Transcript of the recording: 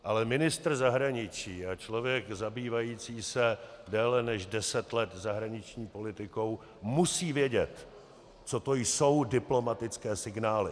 Ale ministr zahraničí a člověk zabývající se déle než deset let zahraniční politikou musí vědět, co to jsou diplomatické signály.